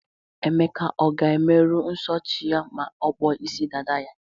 Emeka ọ ga-emeru nso chi ya ma ọkpọ isi dada ya?